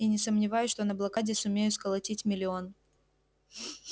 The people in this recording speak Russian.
и не сомневаюсь что на блокаде сумею сколотить миллион